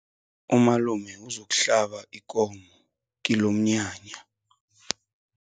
Umalume uzokuhlaba ikomo kilomnyanya.